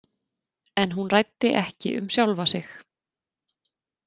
En hún ræddi ekki um sjálfa sig.